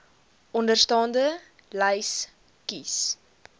onderstaande lys kies